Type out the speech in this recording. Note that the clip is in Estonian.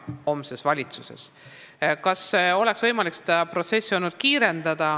Kas seda protsessi oleks olnud võimalik kiirendada?